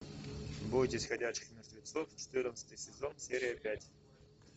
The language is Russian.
бойтесь ходячих мертвецов четырнадцатый сезон серия пять